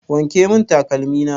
Wanke mun takalmi na!